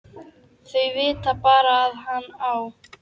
Þau vita bara að hann á